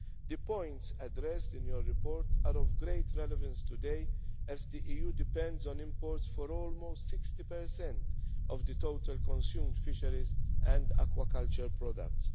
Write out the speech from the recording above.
The points addressed in your report are of great relevance today, as the EU depends on imports for almost 60 of the total consumed fisheries and aquaculture